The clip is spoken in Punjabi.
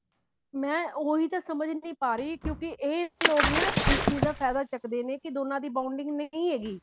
ਮੈਂ ਉਹੀ ਤਾਂ ਸਮਝ ਨੀ ਪਾ ਰਹੀ ਕਿਉਂਕਿ ਇਹ ਲੋਕ ਨਾ ਇਸ ਚੀਜ਼ ਦਾ ਫਾਇਦਾ ਚੱਕਦੇ ਨੇ ਕੀ ਦੋਨਾ ਦੀ bounding ਨਹੀਂ ਹੈਗੀ